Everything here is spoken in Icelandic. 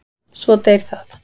Svo deyr það.